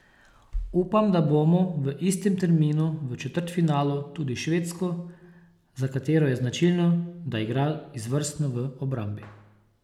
Upam, da bomo v istem terminu v četrtfinalu tudi Švedsko, za katero je značilno, da igra izvrstno v obrambi.